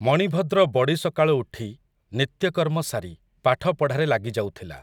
ମଣିଭଦ୍ର ବଡ଼ିସକାଳୁ ଉଠି, ନିତ୍ୟକର୍ମ ସାରି, ପାଠ ପଢ଼ାରେ ଲାଗିଯାଉଥିଲା ।